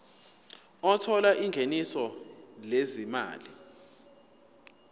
othola ingeniso lezimali